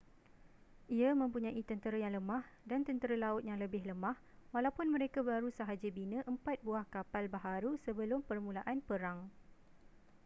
ia mempunyai tentera yang lemah dan tentera laut yang lebih lemah walaupun mereka baru sahaja bina empat buah kapal baharu sebelum permulaan perang